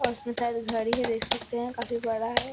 और उसमें शायद घड़ी है देख सकते हैं काफी बड़ा है।